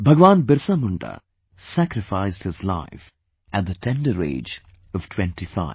BhagwanBirsaMunda sacrificed his life at the tender age of twenty five